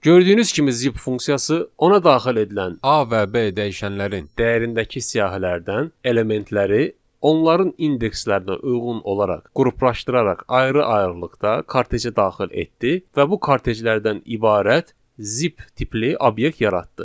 Gördüyünüz kimi zip funksiyası ona daxil edilən A və B dəyişənlərin dəyərindəki siyahılardan elementləri, onların indekslərinə uyğun olaraq qruplaşdıraraq ayrı-ayrılıqda karteci daxil etdi və bu karteclərdən ibarət zip tipli obyekt yaratdı.